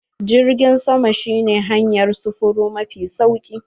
Jirgin sama shi ne hanyar sufuri mafi sauri.